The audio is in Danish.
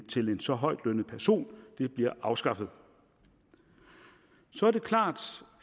til en så højtlønnet person bliver afskaffet så er det klart